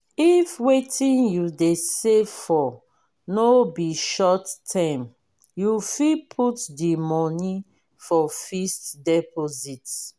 if wetin you dey save for no be short term you fit put di money for fixed deposit